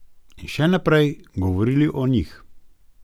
In še naprej govorili o Njih.